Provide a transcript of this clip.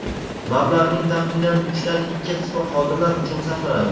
Mablag‘ning taxminan uchdan ikki qismi xodimlar uchun sarflanadi.